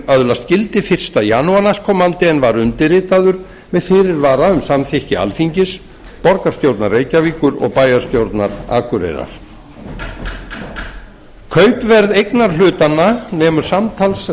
öðlast gildi fyrsta janúar næstkomandi en var undirritaður með fyrirvara um samþykki alþingis borgarstjórnar reykjavíkur og bæjarstjórnar akureyrar kaupverð eignarhlutanna nemur samtals